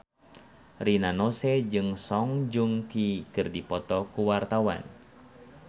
Rina Nose jeung Song Joong Ki keur dipoto ku wartawan